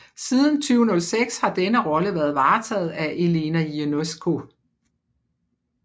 Siden 2006 har denne rolle været varetaget af Elena Ionescu